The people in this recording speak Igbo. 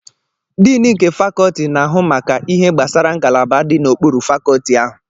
Diini nke Fakolti na-ahụ maka ihe gbasara ngalaba dị n'okpuru Fakolti ahụ.